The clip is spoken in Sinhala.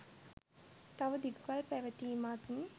තව දිගු කල් පැවතීමත්